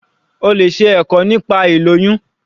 O lè ṣe ẹ̀kọ́ nípa ilóyún.